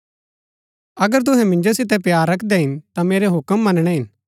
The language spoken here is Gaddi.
अगर तुहै मिन्जो सितै प्‍यार रखदै हिन ता मेरै हूक्म मनणै हिन